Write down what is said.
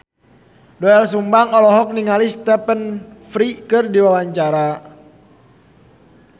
Doel Sumbang olohok ningali Stephen Fry keur diwawancara